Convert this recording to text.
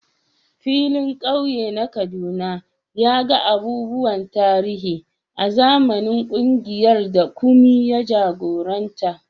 Filin kauye na Kaduna ya ga abubuwan tarihi a zamanin kungiyar da Kunmi ya jagoranta.